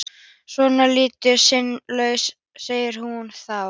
Svona ertu sinnulaus, segir hún þá.